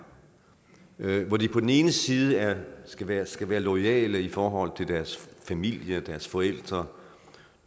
hvor de på den ene side skal være skal være loyale i forhold til deres familie og deres forældre